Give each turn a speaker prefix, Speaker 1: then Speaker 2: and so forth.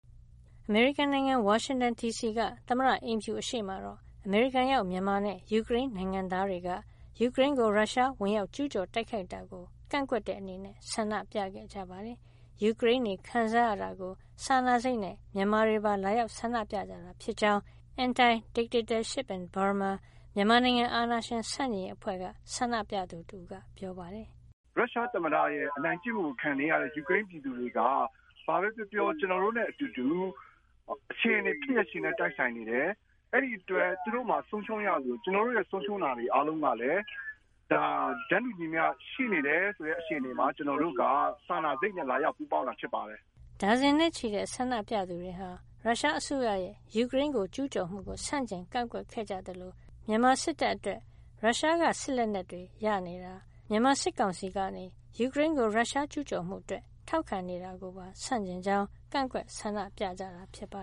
Speaker 1: အမေရိကန်နိုင်ငံ ဝါရှင်တန်ဒီစီက သမ္မတအိမ်ဖြူအရှေ့မှာတော့ အမေရိကန်ရောက် မြန်မာနဲ့ ယူကရိန်းနိုင်ငံသားတွေက ယူကရိန်းကို ရုရှားက ဝင်ရောက်ကျူးကျော် တိုက်ခိုက်တာကို ကန့်ကွက်တဲ့အနေနဲ့ ဆန္ဒပြခဲ့ကြပါတယ်။ ယူကရိန်းတွေ ခံစားရတာကို စာနာစိတ်နဲ့ မြန်မာတွေပါ လာရောက်ဆန္ဒပြကြတာ ဖြစ်ကြောင်း Anti Dictatorship in Burma မြန်မာနိုင်ငံ- အာဏာရှင်ဆန့်ကျင်ရေးအဖွဲ့က ဆန္ဒပြသူတဦးက ပြောပါတယ်
Speaker 2: ။ “ရုရှားသမ္မတရဲ့ အနိုင်ကျင့်မှုကို ခံနေရတဲ့ ယူကရိန်းပြည်သူတွေဟာ ဘာပဲပြောပြော ကျနော်တို့နဲ့အတူတူ၊ အခြေနေ ဖြစ်ရပ်ချင်းလည်း တိုက်ဆိုင်နေတယ်။ အဲဒီအတွက် သူတို့မှာ ဆုံးရှုံးရသလို ကျနော်တို့ရဲ့ ဆုံးရှုံးရတာတွေ အားလုံးကလည်း ဒါ တန်းတူညီမျှ ရှိနေတယ်ဆိုတဲ့ အခြေအနေမှာ ကျနော်တို့က စာနာစိတ်နဲ့ လာရောက်ပူးပေါင်းတာ ဖြစ်ပါတယ်။
Speaker 1: ” ဒါဇင်နဲ့ချီတဲ့ ဆန္ဒပြသူတွေဟာ ရုရှားအစိုးရရဲ့ ယူကရိန်းကို ကျူးကျော်မှုကို ဆန့်ကျင် ကန့်ကွက်ခဲ့ကြသလို မြန်မာစစ်တပ်အတွက် ရုရှားက စစ်လက်နက်တွေ ရရှိနေတာ၊ မြန်မာစစ်ကောင်စီကနေ ယူကရိန်းကို ရုရှားကျူးကျော်မှုအတွက် ထောက်ခံနေတာကိုပါ ဆန့်ကျင်ကြောင်း ကန့်ကွက် ဆန္ဒပြခဲ့ကြတာပါ